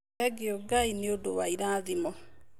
Thengiũ Ngai nĩ ũndũ wa irathimo.